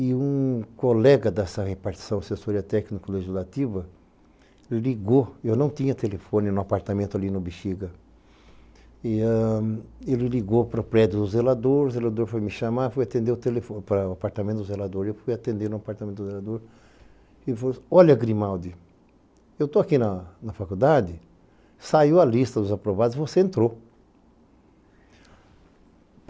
E um colega dessa repartição assessoria técnico-legislativa, ele ligou, eu não tinha telefone no apartamento ali no Bixiga, ele ligou para o prédio do zelador, o zelador foi me chamar, foi atender o telefone para o apartamento do zelador, eu fui atender no apartamento do zelador, ele falou, olha Grimaldi, eu estou aqui na faculdade, saiu a lista dos aprovados e você entrou.